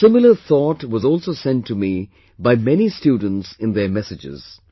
A similar thought was also sent to me by many students in their messages